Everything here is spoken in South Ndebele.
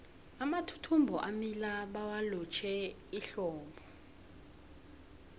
amathuthumbo amila bawalotjhe ehlobo